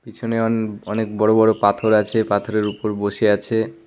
পিছনে অন অনেক বড় বড় পাথর আছে পাথরের উপর বসে আছে।